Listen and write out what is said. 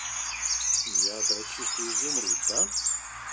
ядра чистый изумруд да